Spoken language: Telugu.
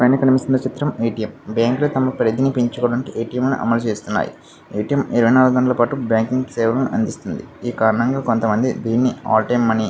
పైన కనిపిస్తున్న చిత్రం ఏ _టి_ఎం బ్యాంక్లు . తమ పరిధిని పెంచుకోటానికి ఏ _టి_ఎం లను అమలు చేస్తున్నాయ్. ఏ _టి_ఎం ఇరవై నాలుగు గంటల పాటు బ్యాంకింగ్ సేవను అందిస్తుంది దీని కారణంగా కొంతమంది ఆల్ టైమ్ మనీ --